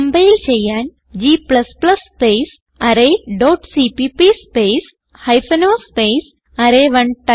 compile ചെയ്യാൻ g space array dot CPP space hyphen o space അറേ1